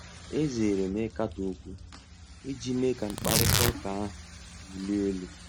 Ezere m ịkatọ okwu iji mee ka mkparịta ụka ahụ na-ewuli elu.